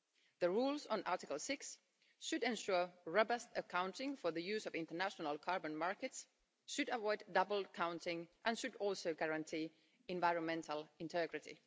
The rules on Article 6 should ensure robust accounting for the use of international carbon markets, should avoid double counting and should also guarantee environmental integrity.